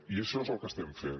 i això és el que estem fent